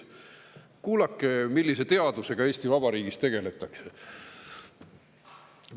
Kuulake nüüd, millise teadusega Eesti Vabariigis tegeletakse.